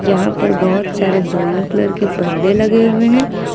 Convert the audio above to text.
यहां पर बहोत सारे ब्राउन कलर के परदे लगे हुए हैं।